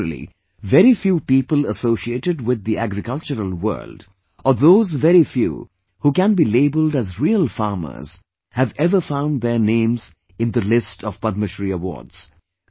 Generally, very few people associated with the agricultural world or those very few who can be labeled as real farmers have ever found their name in the list of Padmashree awards